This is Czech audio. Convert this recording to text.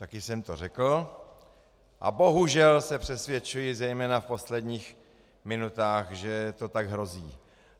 Také jsem to řekl a bohužel se přesvědčuji, zejména v posledních minutách, že to tak hrozí.